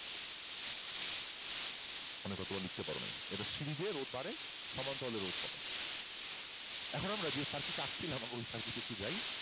তোমরা লিখতে পারও নাই এটা সিরিজে রোধ বাড়ে সমান্তরালে রোধ কমে এখন আমরা যে circuit আঁকছিলাম ওই circuit এ আমরা এখন যাই